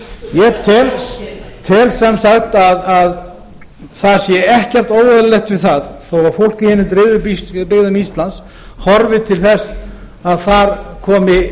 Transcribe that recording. ég tel sem sagt að það sé ekkert óeðlilegt við þó fólk í hinum dreifðu byggðum íslands horfi til þess að þar komi